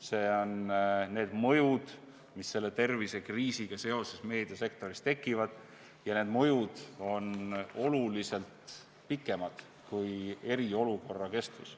" Need on need mõjud, mis selle tervisekriisiga seoses meediasektoris tekivad ja need mõjud kestavad oluliselt pikemalt, kui on eriolukorra kestus.